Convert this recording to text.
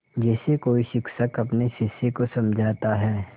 जैसे कोई शिक्षक अपने शिष्य को समझाता है